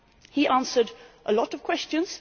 He answered a lot of questions.